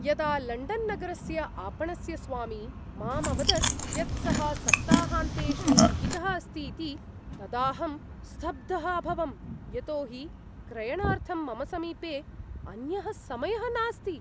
यदा लण्डन्नगरस्य आपणस्य स्वामी माम् अवदत् यत् सः सप्ताहान्तेषु पिहितः अस्तीति, तदाहं स्तब्धः अभवं यतो हि क्रयणार्थं मम समीपे अन्यः समयः नास्ति।